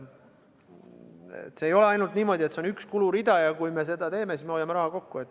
See ei ole ainult niimoodi, et see on üks kulurida ja kui me seda teeme, siis me hoiame raha kokku.